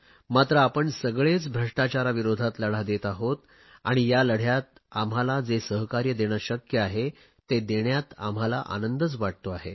मात्र आपण सगळेच भ्रष्टाचाराविरोधात लढा देत आहोत आणि या लढयात आम्हांला जे सहकार्य देणे शक्य आहे ते देण्यात आम्हाला आनंदच वाटतो आहे